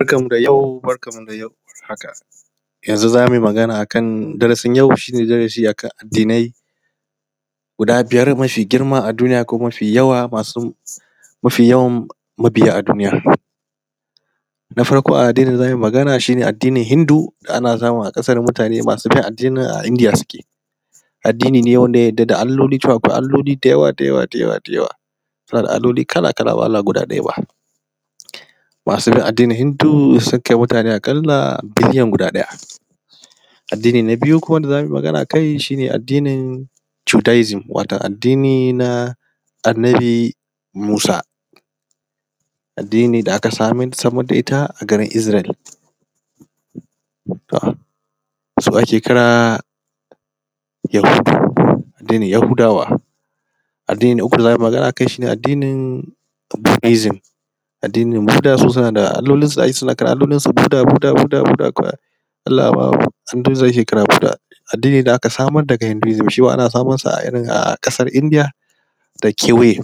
Barkanku da yau barkanmu da yau haka, yanzu zamu yi magana akan darasin yau shi ne darasi akan addinai guda biyar mafi girma a duniya ko mafi yawa masu mafi yawan mabiya a duniya. Na farko dai addinin da zamu yi magana akai shi ne addinin Hindu ana samun a ƙasar mutaane masu bin addinin a Indiya suke. Addini ne wanda ya yarda akwai Alloli cewa Alloli dayawa dayawa dayawa dayawa, suna da Alloli kala-kala ba wai Allah guda ɗaya ba. Masu bin addinin Hindu sukan kai mutaane aƙalla biliyan guda ɗaya. Addini na biyu kuma da za mu yi magana a kai shi ne addinin Judaism wato addini na Annabi Musa, addini da aka samar da ita a garin Israel, su ake kira Yahudu, addinin Yahudawa. Addini na uku da za mu yi magana akai addinin, addinin Budha suna da allolinsu kala-kala Budha Budha budha. Addini da aka samar daga Hinduism shima ana samun sa a irin a ƙasar India da kewaye.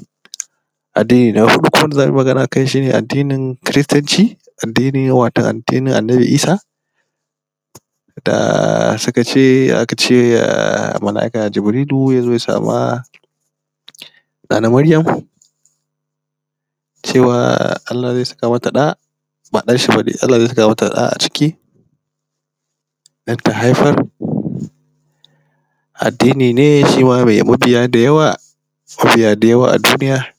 Addini na huɗu kuma wanda za mu yi magana akai shi ne addinin kiristanci, addini ne wato addinin Annabi Isa da suka ce aka ce Mala'ika Jibrilu ya zo ya sama Nana Maryam cewa Allah zai saka mata ɗa ba ɗanshi ba dai, Allah zai saka mata ɗa a ciki don ta haifar. Addini ne shima mai mabiya dayawa mabiya dayawa a duniya.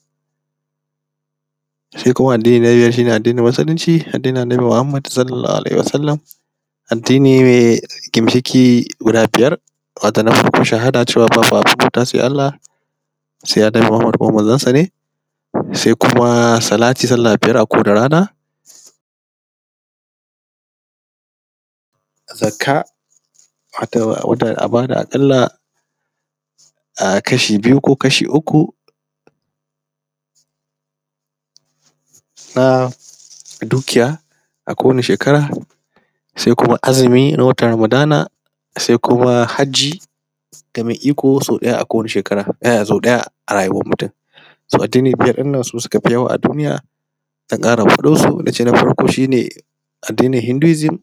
Sai kuma addini na biyar shi ne addinin Musulunci Addinin Annabi Muhammad Sallallahu Alaihi Wasallama, addini mai gimshiƙi guda biyar, wato na farko shahada cewa babu abin bautawa sai Allah sai Annabi Muhammad kuma Manzonsa ne, sai kuma salati sallah biyar a kowace rana, Zakka wato a ba da a ƙalla um kashi biyu ko kashi uku na dukiya a kowane shekara, sai kuma azumi na watan ramadana sai kuma Hajji ga mai iko sau ɗaya a kowane shekara sau ɗaya a rayuwar mutum. so Addini biyar ɗinnan su suka fi yawa a duniya, zan ƙara faɗan su, nace na farko shi ne; addinin Hinduism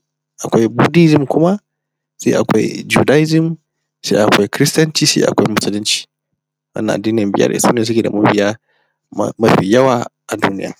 akwai Budhaism kuma sai akwai Judaism sai akwai kiristanci sai akwai Musulunci. Wannan addini biyar su ne suke da mabiya mafi yawa a duniya.